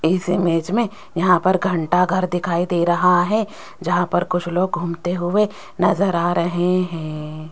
इस इमेज में यहां पर घंटाघर दिखाई दे रहा है जहां पर कुछ लोग घूमते हुए नजर आ रहे हैं।